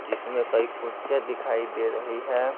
जिसमें कई कुर्सियां दिखाई दे रही है।